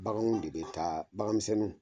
Baganw de bɛ taa bagan miseɛn